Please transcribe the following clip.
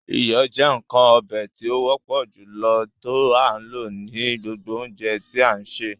Iyọ jẹ̀ nkan ọ̀bẹ̀ tí o wọpọ̀ julọ tó a lọ ní gbogbo ọ̀unjẹ̀ tí a n ṣẹ.